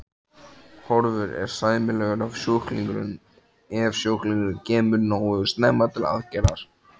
Horfur eru sæmilegar ef sjúklingurinn kemur nógu snemma til aðgerðar.